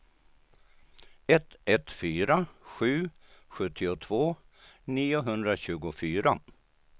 ett ett fyra sju sjuttiotvå niohundratjugofyra